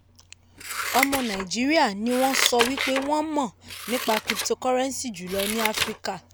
ọmọ nàìjíríà ni wọ́n sọ wípé wọ́n mọ̀ nípa cryptocurrency jùlọ ní áfíríkà.